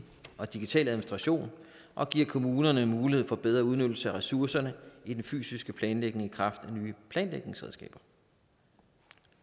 og digital administration og giver kommunerne mulighed for bedre udnyttelse af ressourcerne i den fysiske planlægning i kraft af nye planlægningsredskaber